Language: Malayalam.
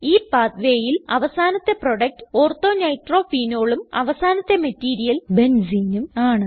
ഈ pathwayയിൽ അവസാനത്തെ പ്രൊഡകറ്റ് Ortho nitrophenolഉം അവസാനത്തെ മറ്റീരിയൽ Benzeneഉം ആണ്